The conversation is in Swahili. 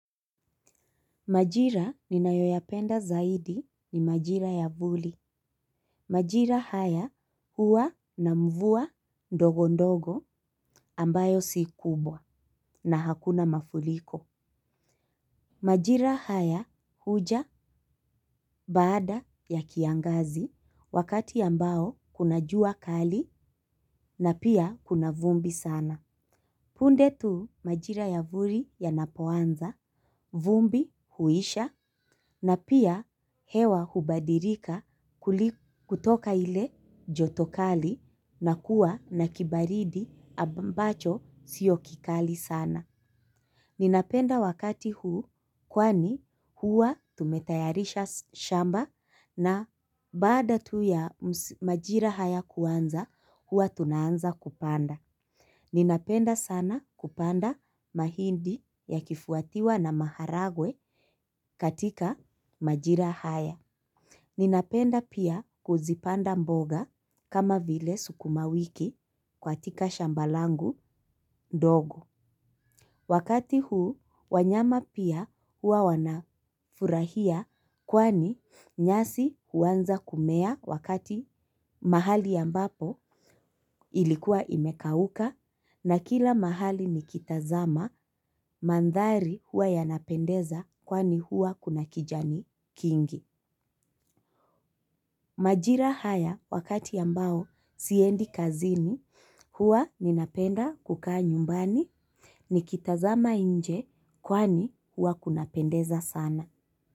Majira ninayo yapenda zaidi ni majira ya vuli. Majira haya huwa na mvua ndogo ndogo ambayo si kubwa na hakuna mafuriko. Majira haya huja baada ya kiangazi wakati ambao kuna jua kali na pia kuna vumbi sana. Punde tu majira ya vuli yanapo anza, vumbi huisha na pia hewa hubadilika kutoka ile joto kali na kuwa na kibaridi ambacho siyo kikali sana. Nina penda wakati huu kwani hua tume tayarisha shamba na baada tu ya majira haya kuanza hua tunaanza kupanda. Nina penda sana kupanda mahindi ya kifuatiwa na maharagwe katika majira haya. Ninapenda pia kuzipanda mboga kama vile sukuma wiki katika shamba langu dogo. Wakati huu, wanyama pia hua wanafurahia kwani nyasi huanza kumea wakati mahali ambapo ilikuwa imekauka na kila mahali nikitazama, mandhari hua yanapendeza kwani hua kuna kijani kingi. Majira haya wakati ambao siendi kazini hua ninapenda kukaa nyumbani nikitazama nje kwani hua kuna pendeza sana.